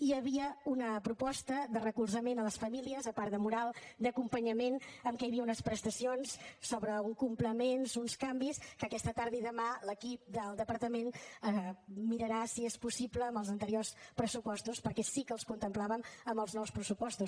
hi havia una proposta de recolzament a les famílies a part de moral d’acompanyament en què hi havia unes prestacions sobre uns complements uns canvis que aquesta tarda i demà l’equip del departament mirarà si són possibles amb els anteriors pressupostos perquè sí que els contemplàvem en els nous pressupostos